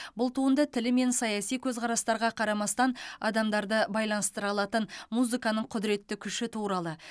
бұл туынды тілі мен саяси көзқарастарға қарамастан адамдарды байланыстыра алатын музыканың құдыретті күші туралы